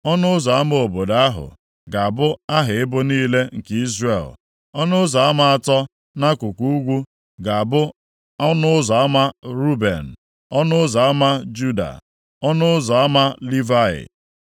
ọnụ ụzọ ama obodo ahụ ga-abụ aha ebo niile nke Izrel. Ọnụ ụzọ ama atọ nʼakụkụ ugwu ga-abụ ọnụ ụzọ ama Ruben, ọnụ ụzọ ama Juda, na ọnụ ụzọ ama Livayị.